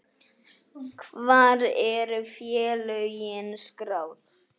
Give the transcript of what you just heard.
Hvar eru félögin skráð?